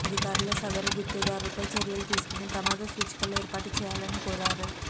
అధికారులు సదరు గుత్తేదారుపై చర్యలు తీసుకొని ప్రమాద సూచికలు ఏర్పాటు చేయాలని కోరారు